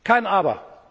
ja! Kein